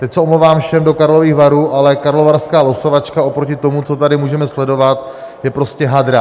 Teď se omlouvám všem do Karlových Varů, ale karlovarská losovačka oproti tomu, co tady můžeme sledovat, je prostě hadra.